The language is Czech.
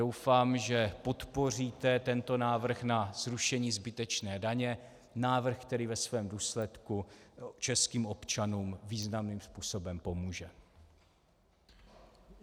Doufám, že podpoříte tento návrh na zrušení zbytečné daně, návrh, který ve svém důsledku českým občanům významným způsobem pomůže.